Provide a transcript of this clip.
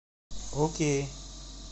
окей